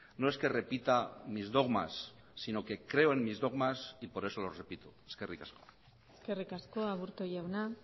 no es que repita mis dogmas sino que creo en mis dogmas y por eso los repito eskerrik asko eskerrik asko aburto jauna